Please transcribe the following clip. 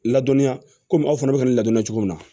Ladɔnniya komi aw fana bɛ ka nin ladɔnya cogo min na